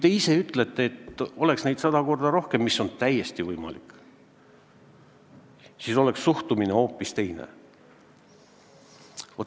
Te ise ütlete, et kui neid oleks sada korda rohkem – mis on täiesti võimalik –, siis oleks suhtumine hoopis teine.